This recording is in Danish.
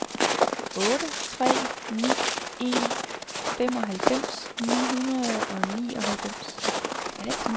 otte tre ni en femoghalvfems ni hundrede og nioghalvfems